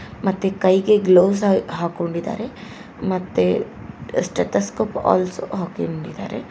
ಮತ್ತೆ ಕೈಗೆ ಗ್ಲೋವ್ಸ್ ಹೈ ಹಾಕೊಂಡಿದ್ದಾರೆ ಮತ್ತೆ ಸ್ಟೇತೋಸ್ಕೋಪ್ ಆಲ್ಸೋ ಹಾಕೊಂಡಿದ್ದಾರೆ.